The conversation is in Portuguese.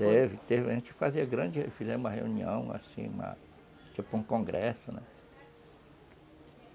Teve, teve, a gente fazia grande, fizemos uma reunião assim, tipo um congresso, né,